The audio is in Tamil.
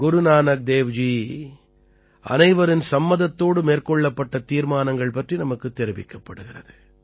குரு நானக் தேவ் ஜி அனைவரின் சம்மதத்தோடு மேற்கொள்ளப்பட்ட தீர்மானங்கள் பற்றி நமக்குத் தெரிவிக்கப்படுகிறது